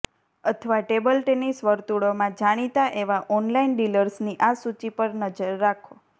અથવા table tennis વર્તુળોમાં જાણીતા એવા ઓનલાઇન ડીલર્સની આ સૂચિ પર નજર રાખો